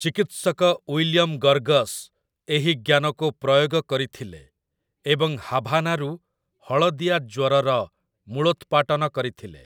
ଚିକିତ୍ସକ William Gorgas ଏହି ଜ୍ଞାନକୁ ପ୍ରୟୋଗ କରିଥିଲେ ଏବଂ ହାଭାନାରୁ ହଳଦିଆ ଜ୍ୱରର ମୂଳୋତ୍ପାଟନ କରିଥିଲେ ।